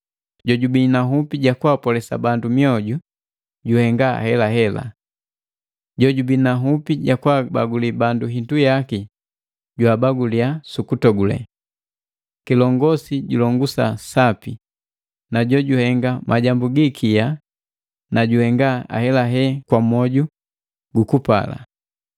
Jojubii na nhupi ja kwaapolesa bandu mioju juhenga helahela. Jojubii na nhupi ya kwaabaguli bangi hindu yaki jwaabagulia sukutogule. Kilongosi julongusa sapi, na jojuhenga majambu gi ikia na juhenga ahelahela kwa mwoju gu upali.